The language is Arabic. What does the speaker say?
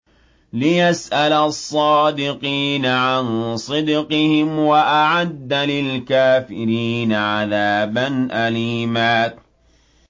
لِّيَسْأَلَ الصَّادِقِينَ عَن صِدْقِهِمْ ۚ وَأَعَدَّ لِلْكَافِرِينَ عَذَابًا أَلِيمًا